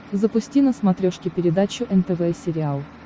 запусти на смотрешке передачу нтв сериал